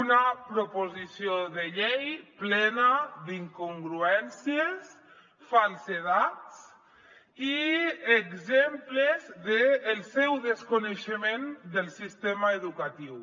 una proposició de llei plena d’incongruències falsedats i exemples del seu desconeixement del sistema educatiu